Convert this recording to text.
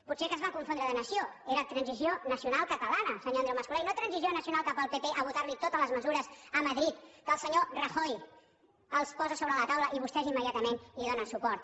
potser que es van confondre de nació era transició nacional catalana senyor andreu mas colell no transició nacional cap al pp a votar li totes les mesures a madrid que el senyor rajoy els posa a sobre la taula i vostès immediatament hi donen suport